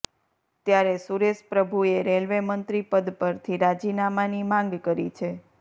ત્યારે સુરેશપ્રભુએ રેલવેમંત્રી પદ પરથી રાજીનામાંની માંગ કરી છે